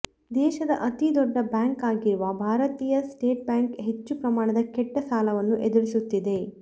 ದೇಶದ ಅತಿ ದೊಡ್ಡ ಬ್ಯಾಂಕ್ ಆಗಿರುವ ಭಾರತೀಯ ಸ್ಟೇಟ್ ಬ್ಯಾಂಕ್ ಹೆಚ್ಚು ಪ್ರಮಾಣದ ಕೆಟ್ಟ ಸಾಲವನ್ನು ಎದುರಿಸುತ್ತಿದೆ